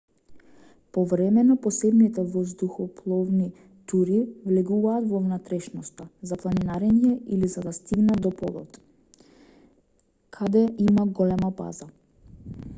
повремено посебните воздухопловни тури влегуваат во внатрешноста за планинарење или за да стигнат до полот каде има голема база